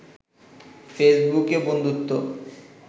ফেসবুকে বন্ধুত্ব